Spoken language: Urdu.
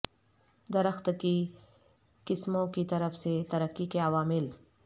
درخت کی قسموں کی طرف سے ترقی کے عوامل